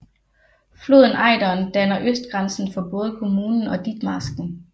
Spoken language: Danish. Floden Ejderen danner østgrænsen for både kommunen og Ditmarsken